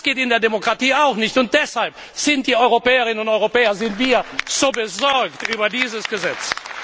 Das geht in der Demokratie auch nicht, und deshalb sind wir Europäerinnen und Europäer so besorgt über dieses Gesetz.